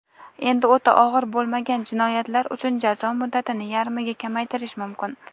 Endi o‘ta og‘ir bo‘lmagan jinoyatlar uchun jazo muddatini yarmiga kamaytirish mumkin.